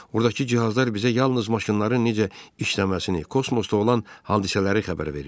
Ordakı cihazlar bizə yalnız maşınların necə işləməsini, kosmosda olan hadisələri xəbər verir.